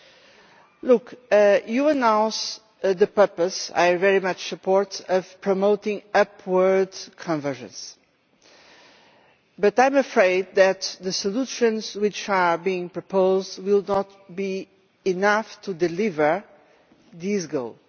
The Commission announced the purpose which I very much support of promoting upward convergence, but I am afraid that the solutions which are being proposed will not be enough to deliver these goals.